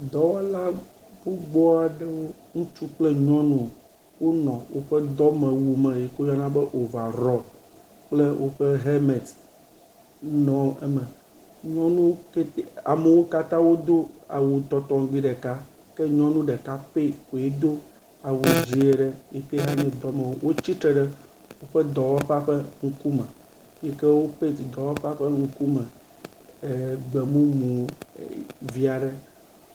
Dɔwɔla gbogbo aɖewo. Ŋutsu kple nyɔnu wonɔ woƒe dɔwɔwu me si ke woyɔna be ovarɔ kple woƒe helmet nɔ eme. Nyɔnu kete amewo katã wodo awu tɔtɔŋgbi ɖeka ke nyɔnu ɖeka pɛ koe do awu dzi aɖe yike yihã nye dɔmewu aɖe. Wotsi tre ɖe woƒe dɔwɔƒea ƒe ŋkume yike wo pɛnt dɔwɔƒea ƒe ŋkume e gbemumu vi aɖe.